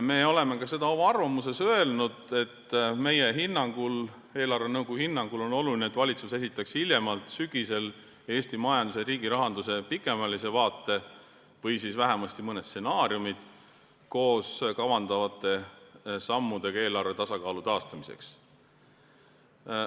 Me oleme ka seda oma arvamuses öelnud, et meie, eelarvenõukogu hinnangul on oluline, et valitsus esitaks hiljemalt sügisel Eesti majanduse ja riigirahanduse pikemaajalise vaate või vähemasti mõne stsenaariumi koos kavandatavate sammudega eelarve tasakaalu taastamiseks.